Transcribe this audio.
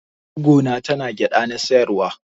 Gwaggo na tana gyada na siyarwa.